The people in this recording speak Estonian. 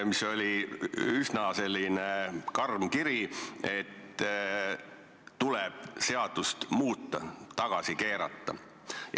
See oli üsna karm kiri, milles öeldi, et seadust tuleb muuta, see tuleb tagasi keerata.